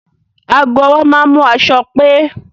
Àwọn aago ọwọ́ máa ń mú aṣọ pé